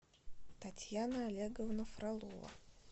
татьяна олеговна фролова